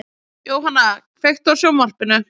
Jóanna, kveiktu á sjónvarpinu.